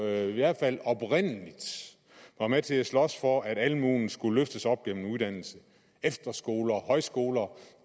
i hvert fald oprindeligt var med til at slås for at almuen skulle løftes op gennem uddannelse efterskoler og højskoler